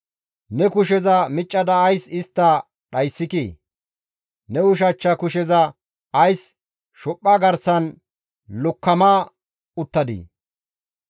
Ne kusheza miccada ays istta dhayssikii? Ne ushachcha kusheza ays shophpha garsan lokkoma uttadii?